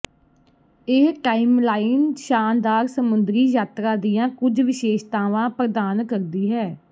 ਇਹ ਟਾਈਮਲਾਈਨ ਸ਼ਾਨਦਾਰ ਸਮੁੰਦਰੀ ਯਾਤਰਾ ਦੀਆਂ ਕੁਝ ਵਿਸ਼ੇਸ਼ਤਾਵਾਂ ਪ੍ਰਦਾਨ ਕਰਦੀ ਹੈ